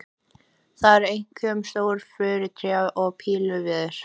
Það eru einkum stór furutré og pílviður.